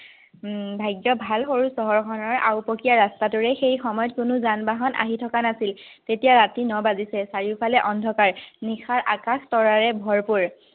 উম ভাগ্য ভাল হল, ঘৰখনৰ আওপকীয়া ৰাস্তাটোৰে সেই সময়ত কোনো যান-বাহন আহি থকা নাছিল। তেতিয়া ৰাতি ন বাজিছে, চাৰিওফালে অন্ধকাৰ নিশাৰ আকাশ তৰাৰে ভৰপুৰ